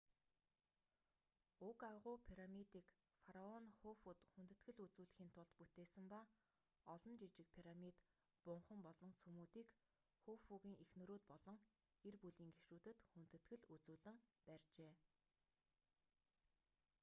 уг агуу пирамидыг фараон хуфуд хүндэтгэл үзүүлэхийн тулд бүтээсэн ба олон жижиг пирамид бунхан болон сүмүүдийг хуфугийн эхнэрүүд болон гэр бүлийн гишүүдэд хүндэтгэл үзүүлэн барьжээ